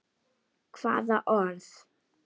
Hvaða orð?